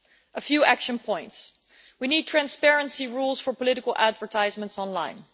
A few action points we need transparency rules for political advertisements online.